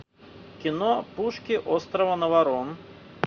кино пушки острова наварон